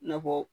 Nafɔ